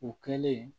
U kɛlen